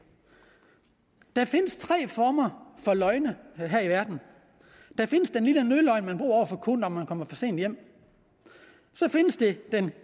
der findes tre former for løgne her i verden der findes den lille nødløgn man bruger over for konen når man kommer for sent hjem så findes der den